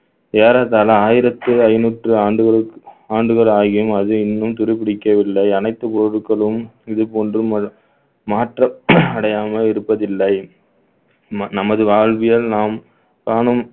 ஏறத்தாழ ஆயிரத்து ஐநூத்து ஆண்டுகளுக்~ ஆண்டுகள் ஆகியும் அது இன்னும் துருப்பிடிக்கவில்லை அனைத்து பொருட்களும் இது போன்று மா~ மாற்றம் அடையாமல் இருப்பதில்லை ம~ நமது வாழ்வியல் நாம் காணும்